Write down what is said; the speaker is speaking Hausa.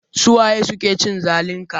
Su waye suke cin zalin ka?